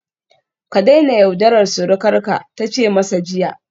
Ka daina yaudarar surukarsa ta ce masa jiya